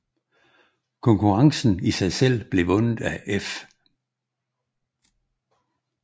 Konkurrencen i sig selv blev vundet af F